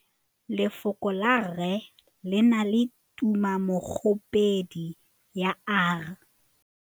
Lefoko la rre le na le tumammogôpedi ya, r.